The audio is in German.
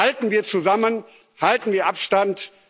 Halten wir zusammen, halten wir Abstand!